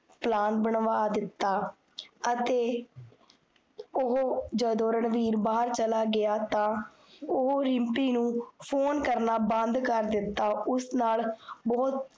Plan ਬਨਵਾ ਦਿੱਤਾ ਅਤੇ, ਓਹੋ ਜਦੋ ਰਣਵੀਰ ਬਾਹਰ ਚਲਾ ਗੇਆ, ਤਾਂ ਓ ਰਿਮ੍ਪੀ ਨੂੰ phone ਕਰਨਾ ਬੰਦ ਕਰਦਿੱਤਾ ਉਸ ਨਾਲ